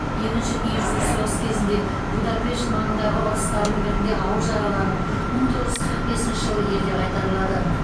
екінші дүниежүзілік соғыс кезінде будапешт маңындағы ұрыстардың бірінде ауыр жараланып мың тоғыз жүз қырық бесінші жылы елге қайтарылады